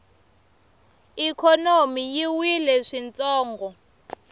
ikhonomi yi wile swintsongo